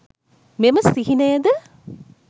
මෙම සිහිනයද